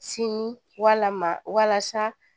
Sini walama walasa